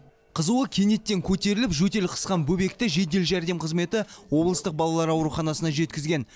қызуы кенеттен көтеріліп жөтел қысқан бөбекті жедел жәрдем қызметі облыстық балалар ауруханасына жеткізген